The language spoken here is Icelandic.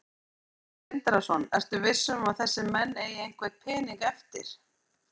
Sindri Sindrason: Ertu svo viss um að þessir menn eigi einhvern pening eftir?